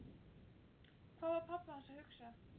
Hvað var pabbi hans að hugsa?